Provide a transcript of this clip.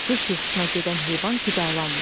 Qış yuxusuna gedən heyvan qidalanmır.